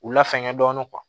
U la fɛngɛ dɔɔnin